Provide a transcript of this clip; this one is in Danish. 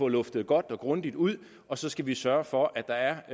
luftet godt og grundigt ud og så skal vi sørge for at der